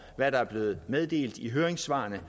hvad der er blevet meddelt i høringssvarene